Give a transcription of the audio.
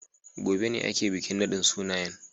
Gobe ne ake bikin nadin sunayen.